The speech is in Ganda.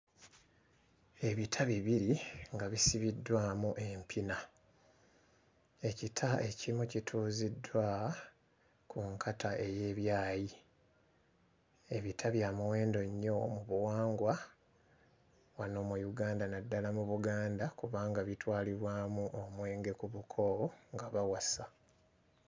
Ebita bibiri nga bisibiddwamu empina ekita ekimu kituuziddwa ku nkata ey'ebyayi. Ebita bya muwendo nnyo mu buwangwa wano mu Uganda naddala mu Buganda kubanga bitwalibwamu omwenge ku buko nga bawasa.